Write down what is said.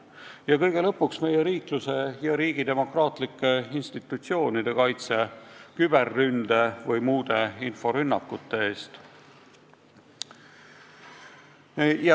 Ja kõige lõpuks meie riikluse ja riigi demokraatlike institutsioonide kaitse küberründe ja muude inforünnakute eest.